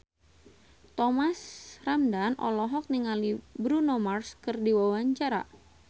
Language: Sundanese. Thomas Ramdhan olohok ningali Bruno Mars keur diwawancara